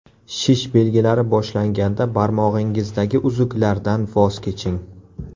Shish belgilari boshlanganda barmog‘ingizdagi uzuklardan voz keching.